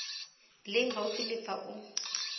leng gaufi le fa o